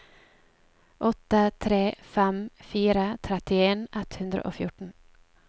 åtte tre fem fire trettien ett hundre og fjorten